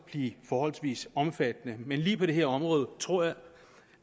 blive forholdsvis omfattende men på lige det her område tror jeg